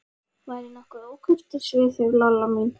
Var ég nokkuð ókurteis við þig, Lolla mín?